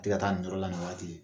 A tɛ taa nin yɔrɔ la nin waati